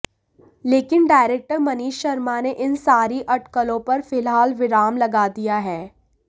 लेकिन डायरेक्टर मनीष शर्मा ने इन सारी अटकलों पर फिलहाल विराम लगा दिया है